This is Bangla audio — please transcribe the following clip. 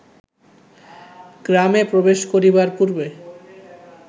গ্রামে প্রবেশ করিবার পূর্বে